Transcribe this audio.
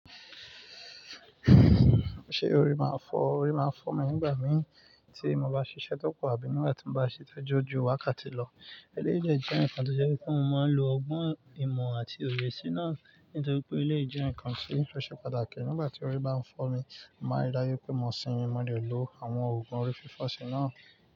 Ṣé orí máa ń fọ́? Orí máa ń fọ́ mi nígbà mìí tí mo bá ṣiṣẹ́ tó pọ̀ àbí nígbà tí mo bá ṣiṣẹ́ tóju wa ká ti lọ. Eléyìí dẹ̀ jẹ́ nǹkan tó jẹ́ pé kí n máa lò ọgbọ́n ìmọ̀ àti òye sí náà nítorí pé eléyìí jẹ́ nǹkan tí ó ṣe pàtàkì. Nígbà tí orí bá ń fọ́ mi, mo máa rí dájú pé mo sinmi mo dẹ̀ lò àwọn òògùn orí fífọ̀ si náà.